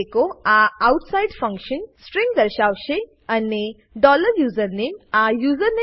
echo આ outside function string દર્શાવશે અને ડોલર યુઝરનેમ આ યુઝરનેમ